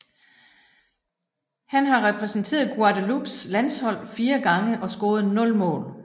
Han har repræsenteret Guadeloupes landshold 4 gange og scoret 0 mål